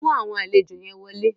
Mú àwọn àlejò yẹn wọlé.